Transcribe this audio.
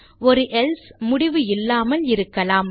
ஒரு எல்சே முடிவு இல்லாமல் இருக்கலாம்